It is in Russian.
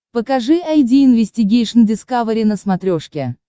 покажи айди инвестигейшн дискавери на смотрешке